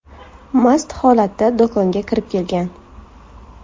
mast holatda do‘konga kirib kelgan.